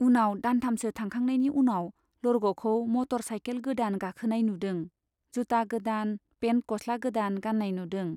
उनाव दानथामसो थांखांनायनि उनाव लरग'खौ मटर साइकेल गोदान गाखोनाय नुदों, जुता गोदान, पेन्ट गस्ला गोदान गान्नाय नुदों।